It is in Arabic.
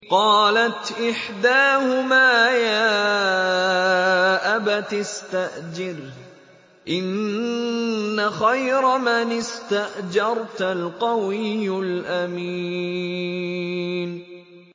قَالَتْ إِحْدَاهُمَا يَا أَبَتِ اسْتَأْجِرْهُ ۖ إِنَّ خَيْرَ مَنِ اسْتَأْجَرْتَ الْقَوِيُّ الْأَمِينُ